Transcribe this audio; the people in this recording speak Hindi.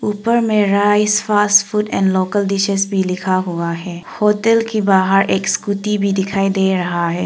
ऊपर मे rice phosphide and local dishes भी लिखा हुआ है होटल कि बाहर एक स्कूटी भी दिखाई दे रहा है।